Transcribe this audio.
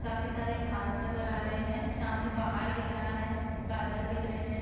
काफी सारे घाँस नजर आ रहे हैं सामने पहाड़ दिख रहा हैं बादल दिख रहे हैं ।